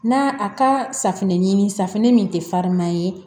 Na a ka safinɛ ɲini safinɛ min tɛ fariman ye